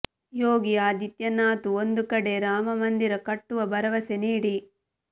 ಯೋಗಿ ಆದಿತ್ಯನಾಥ್ ಒಂದು ಕಡೆ ರಾಮ ಮಂದಿರ ಕಟ್ಟುವ ಭರವಸೆ ನೀಡಿ